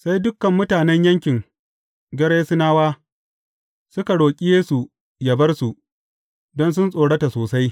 Sai dukan mutanen yankin Gerasenawa suka roƙi Yesu ya bar su, don sun tsorata sosai.